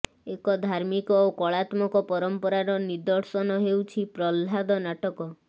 ଏକ ଧାର୍ମିକ ଓ କଳାତ୍ମକ ପରମ୍ପରାର ନିଦର୍ଶନ ହେଉଛି ପ୍ରହ୍ଲାଦ ନାଟକ